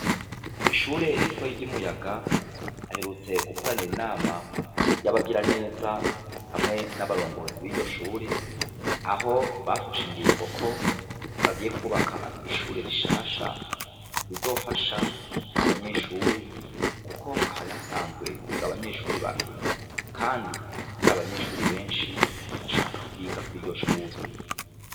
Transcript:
Ko ishure ritoye ry'umuyaga aherutse gukoranira inama y'abagira neza hamwe n'abarongozi b'iryo shure aho bafasha ingingo ko bagiye kwubaka ishure rishasha rizofasha abanyeshuri, kuko hari hasanzwe higa abanyeshuri bakenye, kandi hari abanyeshuri benshi bashaka kwigako iryo curi.